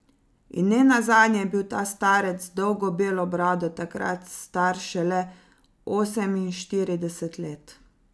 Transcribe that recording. In nenazadnje je bil ta starec z dolgo belo brado takrat star šele oseminštirideset let ...